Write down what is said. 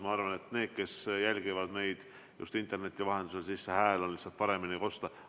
Ma arvan, et siis on neile, kes jälgivad meid interneti vahendusel, teie hääl paremini kosta.